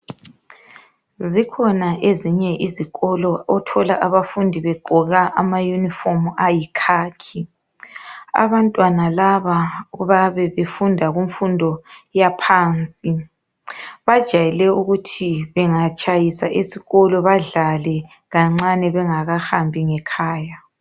Zikhona ezinye izikolo othola abafundi begqoka ama yunifomu ayikhakhi. Abantwana laba bayabe befunda kunfundo yaphansi. Bajayele ukuthi bengatshayisa esikolo badlale kancane bengakahambi ngekhaya.